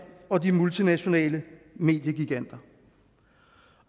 og de multinationale mediegiganter